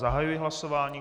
Zahajuji hlasování.